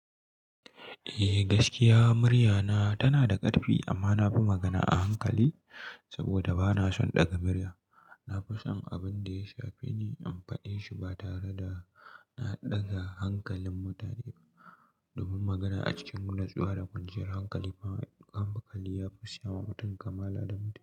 Eh gaskiya murya na tana da karfi amma na fi magana a hankali saboda bana son daga murya. Na fi son abin da ya shafi ni in faɗi shi ba tare da na ɗaga hankalin mutane ba. Domin magana a cikin natsuwa da kwanciyar hankali fa an makale ya fi siya wa mutum kamala adamci.